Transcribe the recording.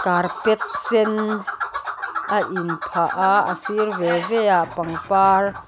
carpet sen a inphah a a sir ve ve ah pangpar k--